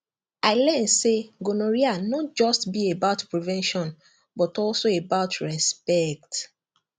i learn say gonorrhea no just be about prevention but also about respect